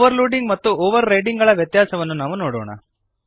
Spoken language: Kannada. ಓವರ್ಲೋಡಿಂಗ್ ಮತ್ತು ಓವರ್ರೈಡಿಂಗ್ ಗಳ ವ್ಯತ್ಯಾಸವನ್ನು ನಾವು ನೋಡೋಣ